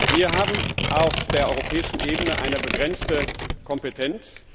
Wir haben auf der europäischen Ebene eine begrenzte Kompetenz.